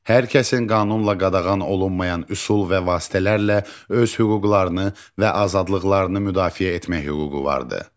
Hər kəsin qanunla qadağan olunmayan üsul və vasitələrlə öz hüquqlarını və azadlıqlarını müdafiə etmək hüququ vardır.